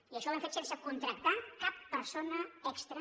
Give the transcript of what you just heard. i això ho hem fet sense contractar cap persona extra